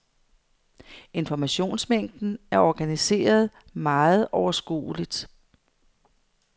Informationsmængden er organiseret meget overskueligt.